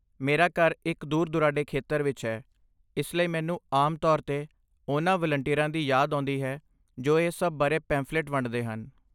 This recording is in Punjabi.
ਮੇਰਾ ਘਰ ਇੱਕ ਦੂਰ ਦੁਰਾਡੇ ਖੇਤਰ ਵਿੱਚ ਹੈ, ਇਸ ਲਈ ਮੈਨੂੰ ਆਮ ਤੌਰ 'ਤੇ ਉਨ੍ਹਾਂ ਵਲੰਟੀਅਰਾਂ ਦੀ ਯਾਦ ਆਉਂਦੀ ਹੈ ਜੋ ਇਸ ਸਭ ਬਾਰੇ ਪੇਂਫ਼ਲਿਟ ਵੰਡਦੇ ਹਨ